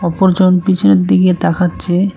অপর জন পিছনের দিকে তাকাচ্ছে।